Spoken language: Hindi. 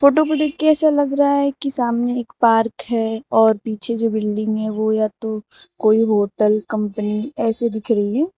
फोटो को देख के ऐसा लग रहा है कि सामने एक पार्क है और पीछे जो बिल्डिंग है वो या तो कोई होटल कंपनी ऐसे दिख रही है।